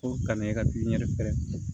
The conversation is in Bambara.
Ko ka na e ka